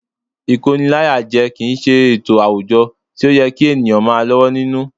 Ìkóniláyàjẹ kì í ṣe ètò àwùjọ tí ó yẹ kí ènìyàn máa lọ́wọ́ nínú